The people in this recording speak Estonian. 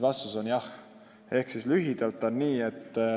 Vastus on lühidalt jah.